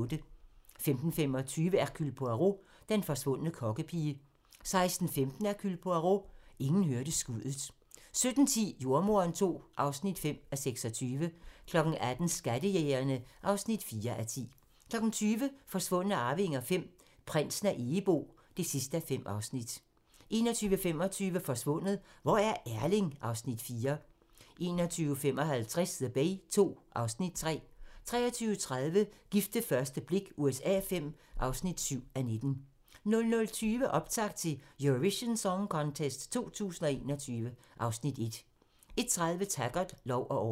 15:25: Hercule Poirot: Den forsvundne kokkepige 16:15: Hercule Poirot: Ingen hørte skuddet 17:10: Jordemoderen II (5:26) 18:00: Skattejægerne (4:10) 20:00: Forsvundne arvinger V: Prinsen af Egebo (5:5) 21:25: Forsvundet - hvor er Erling? (Afs. 4) 21:55: The Bay II (Afs. 3) 23:30: Gift ved første blik USA V (7:19) 00:20: Optakt til Eurovision Song Contest 2021 (Afs. 1) 01:30: Taggart: Lov og orden